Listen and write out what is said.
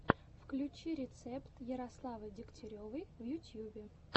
включи рецепт ярославы дегтяревой в ютьюбе